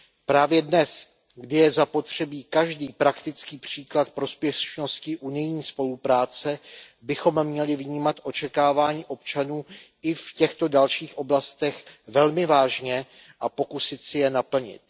Právě dnes, kdy je zapotřebí každý praktický příklad prospěšnosti unijní spolupráce, bychom měli vnímat očekávání občanů i v těchto dalších oblastech velmi vážně a pokusit si je naplnit.